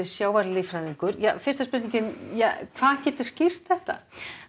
sjávarlíffræðingur Edda hvað getur skýrt þetta